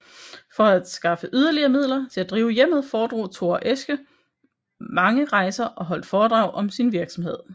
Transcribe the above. For at skaffe yderligere midler til at drive hjemmet foretog Thora Esche mange rejser og holdt foredrag om sin virksomhed